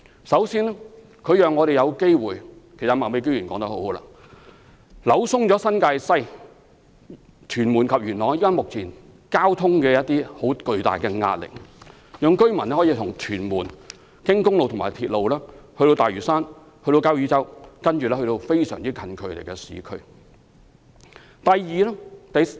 首先，交椅洲讓我們有機會——其實麥美娟議員說得很好——紓緩新界西、屯門及元朗目前的巨大交通壓力，讓居民可以由屯門經公路和鐵路到大嶼山和交椅洲，然後到鄰近的市區。